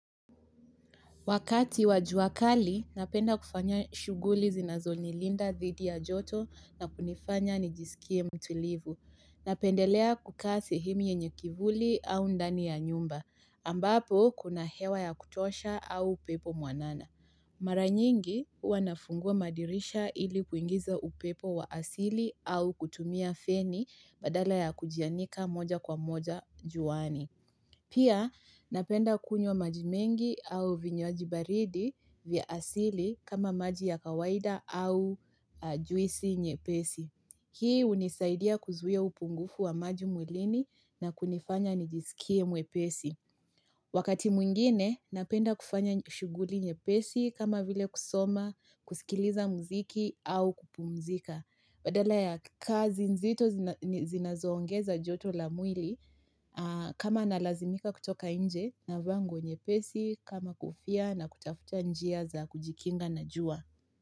Wakati wa jua kali, napenda kufanya shuguli zinazo nilinda dhidi ya joto na kunifanya nijisikie mtulivu. Napendelea kukaa sehemu yenye kivuli au ndani ya nyumba, ambapo kuna hewa ya kutosha au upepo mwanana. Mara nyingi huwa nafungua madirisha ili kuingiza upepo wa asili au kutumia feni badala ya kujianika moja kwa moja juani. Pia, napenda kunywa maji mengi au vinywaji baridi vya asili kama maji ya kawaida au juisi nyepesi. Hii hunisaidia kuzuia upungufu wa maji mwilini na kunifanya nijisikie mwepesi. Wakati mwingine, napenda kufanya shuguli nyepesi kama vile kusoma, kusikiliza mziki au kupumzika. Badala ya kazi nzito zinazoongeza joto la mwili kama nalazimika kutoka inje navaa nguo nyepesi kama kofia na kutafuta njia za kujikinga na jua.